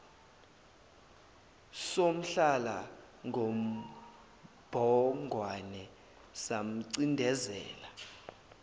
samhlala ngobhongwana samcindezela